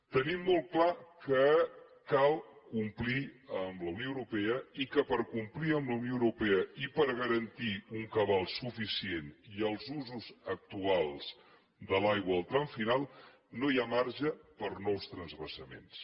tenim molt clar que cal complir amb la unió europea i que per complir amb la unió europea i per garantir un cabal suficient i els usos actuals de l’aigua en el tram final no hi ha marge per a nous transvasaments